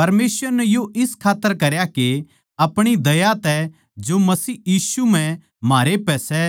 परमेसवर नै यो इस खात्तर करया के अपणी दया तै जो मसीह यीशु म्ह म्हारै पै सै